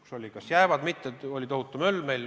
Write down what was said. Meil oli tohutu möll, kas nad jäävad siia või mitte.